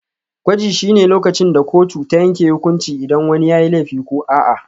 Gwaji shine lokacin da kotu ta yanke hukunci idan wani yayi laifi ko a'a.